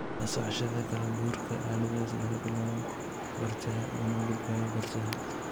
La socoshada kala-guurka aaladdaas laga bilaabo bartaha una gudbayo bartaha.